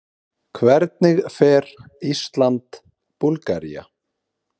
Hvernig fer Ísland- Búlgaría?